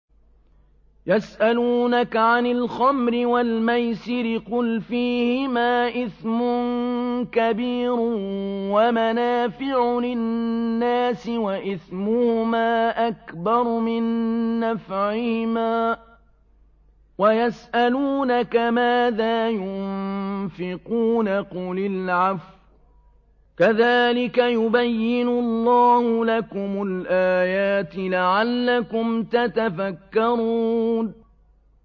۞ يَسْأَلُونَكَ عَنِ الْخَمْرِ وَالْمَيْسِرِ ۖ قُلْ فِيهِمَا إِثْمٌ كَبِيرٌ وَمَنَافِعُ لِلنَّاسِ وَإِثْمُهُمَا أَكْبَرُ مِن نَّفْعِهِمَا ۗ وَيَسْأَلُونَكَ مَاذَا يُنفِقُونَ قُلِ الْعَفْوَ ۗ كَذَٰلِكَ يُبَيِّنُ اللَّهُ لَكُمُ الْآيَاتِ لَعَلَّكُمْ تَتَفَكَّرُونَ